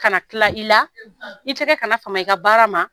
Kana tila i la i tɛgɛ kana fama i ka baara ma